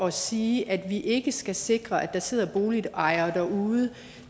at sige at vi ikke skal sikre at der sidder boligejere derude